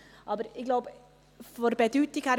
Aber ich denke, von der Bedeutung her ist es wichtig.